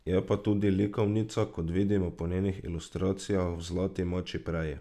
Je pa tudi likovnica, kot vidimo po njenih ilustracijah v Zlati mačji preji.